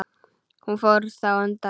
Fór hann þá undan.